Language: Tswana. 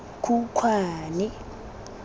khukhwane